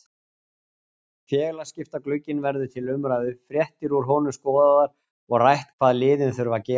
Félagaskiptaglugginn verður til umræðu, fréttir úr honum skoðaðar og rætt hvað liðin þurfa að gera.